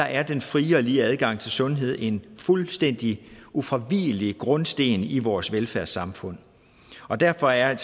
er den frie og lige adgang til sundhed en fuldstændig ufravigelig grundsten i vores velfærdssamfund og derfor er